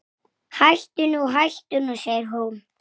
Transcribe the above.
Hvenær á ég að koma?